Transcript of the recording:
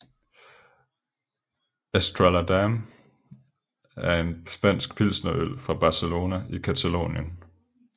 Estrella Damm er en spansk pilsnerøl fra Barcelona i Catalonien